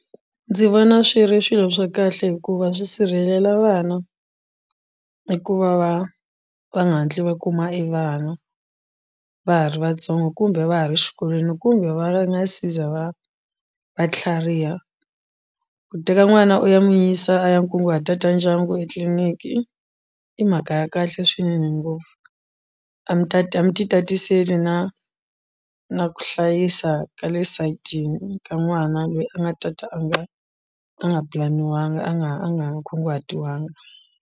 Ndzi vona swi ri swilo swa kahle hikuva swi sirhelela vana i ku va va va nga hatli va kuma evana va ha ri vatsongo kumbe va ha ri xikolweni kumbe va nga si za va va tlhariha ku teka n'wana u ya n'wi yisa a ya nkunguhata ta ndyangu etliliniki i mhaka ya kahle swinene ngopfu a mi ta mi ti tatisela na na ku hlayisa ka le sayitini ka n'wana loyi a nga tata a nga a nga pulaniwanga a nga a nga kunguhatiwangi.